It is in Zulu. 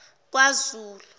kwazulu